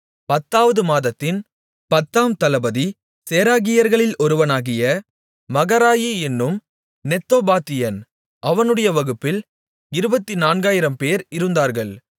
பத்தாவது மாதத்தின் பத்தாம் தளபதி சேராகியர்களில் ஒருவனாகிய மகராயி என்னும் நெத்தோபாத்தியன் அவனுடைய வகுப்பில் இருபத்துநான்காயிரம்பேர் இருந்தார்கள்